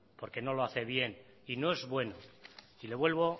porque no lo hacen bien y no es bueno y le vuelvo